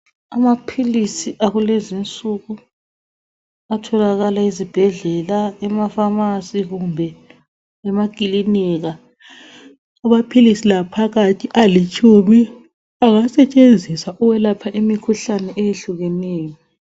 Amaphilisi akulezi insuku atholakala ezibhedlela, emapharmacy kumbe emakilinika .Amaphilisi la phakathi alitshumi engasetshenziswa ukwelapha imikhuhlane eyehlukeneyo.